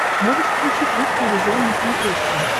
можешь включить русский иллюзион на смотрешке